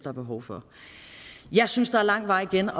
er behov for jeg synes der er lang vej igen